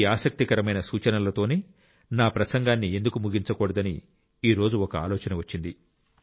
ఈ ఆసక్తికరమైన సూచనలతోనే నా ప్రసంగాన్ని ఎందుకు ముగించకూడదని ఈ రోజు ఒక ఆలోచన వచ్చింది